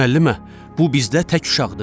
Müəllimə, bu bizdə tək uşaqdır.